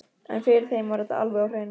En fyrir þeim var þetta alveg á hreinu.